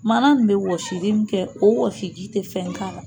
Mana in bɛ wɔsili min kɛ o wasi ji tɛ fɛn k'a la